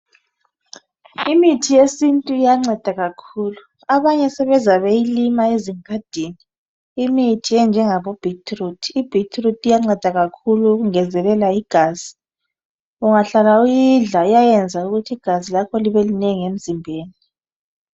Imithi yesintu iyanceda kakhulu abanye sebeze beyilima ezingadini imithi enjengabo beetroot I beetroot iyanceda kakhulu ukungezelela igazi ungahlala uyidla iyaneza ukuthi igazi lakho libe linengi emzimbeni